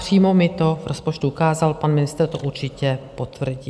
Přímo mi to v rozpočtu ukázal, pan ministr to určitě potvrdí.